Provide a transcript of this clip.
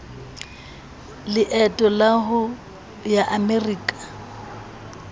leeto la ho ya amerika